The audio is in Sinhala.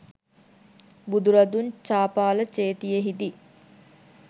බුදුරදුන් චාපාල චේතියෙහිදී